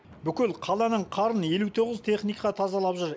бүкіл қаланың қарын елу тоғыз техника тазалап жүр